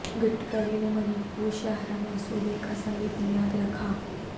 گڈکری نے منی پور شاہراہ منصوبے کا سنگ بنیاد رکھا